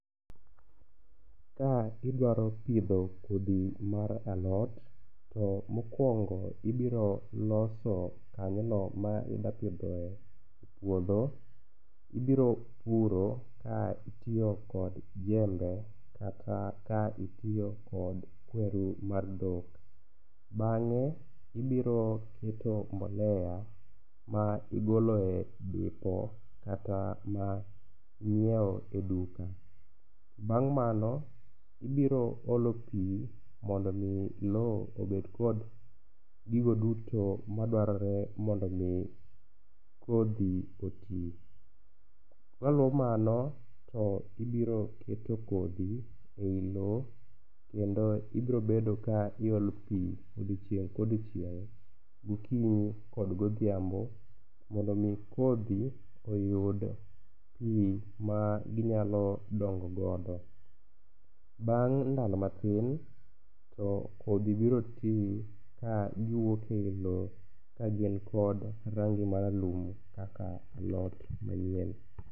Ka idwaro pidho kodhi mar alot to mokwongo ibiro loso kanyono ma ida pidhoe puodho. Ibiro puro ka itiyo kod jembe kata ka itiyo kod kwerni mar dhok, bang'e ibiro keto mbolea ma igolo e dipo kata ma inyieo e duka. Bang' mano ibiro olo pi mondo omi lowo obed kod gigo duto madwarore mondo omi kodhi oti. Maluo mano to ibiro keto kodhi e i lo kendo ibrobedo ka iolo pi odiochieng kodiochieng' gokinyi kod godhiambo mondo omi kodhi oyud pi ma ginyalo dongogodo. Bang' ndalo mathin to kodhi biro ti ka giwuok e i lo kagin kod rangi maralum kaka alot manyien.